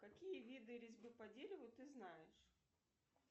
какие виды резьбы по дереву ты знаешь